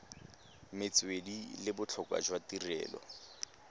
metswedi le botlhokwa jwa tirelo